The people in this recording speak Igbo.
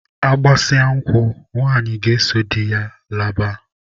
Agbasịa nkwụ, nwanyị ga-eso di ya laba.